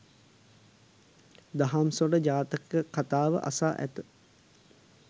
දහම් සොඬ ජාතක කථාව අසා ඇත.